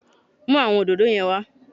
Mú àwọn òdòdó yẹn wá